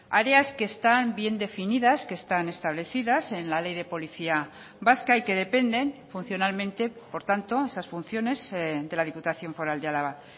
áreas que están bien definidas que están establecidas en la ley de policía vasca y que dependen funcionalmente por tanto esas funciones de la diputación foral de álava